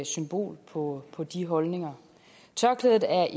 symbol på på de holdninger tørklædet er